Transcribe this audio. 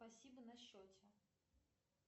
спасибо на счете